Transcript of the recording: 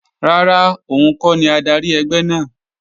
Rárá, òun kọ́ ni adarí ẹgbẹ́ náà